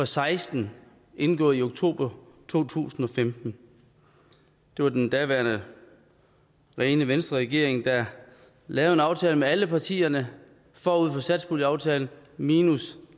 seksten indgået i oktober to tusind og femten det var den daværende rene venstreregering der lavede en aftale med alle partierne forud for satspuljeaftalen minus